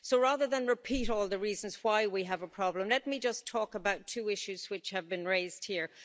So rather than repeat all the reasons why we have a problem, let me just talk about two issues which have been raised here.